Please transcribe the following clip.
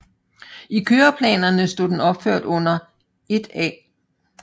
I køreplanerne stod den opført under 1A